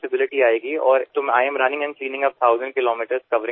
আমি 50 টিশহর জুড়ে হাজার কিলোমিটার ছুটে চলেছি এবং পরিষ্কার করছি